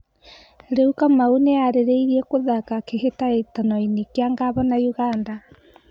Rĩu Kamau nĩeharĩirie gũthaka kĩhĩtahĩtanoinĩ kĩa Ngavana Ũganda?